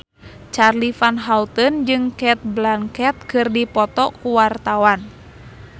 Charly Van Houten jeung Cate Blanchett keur dipoto ku wartawan